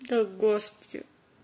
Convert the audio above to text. да господи